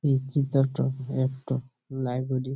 এই চিত্র টো একটো লাইব্রেরির ।